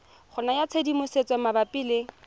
go naya tshedimosetso malebana le